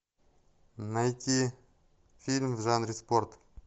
найти фильм в жанре спорт